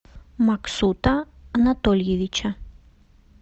максута анатольевича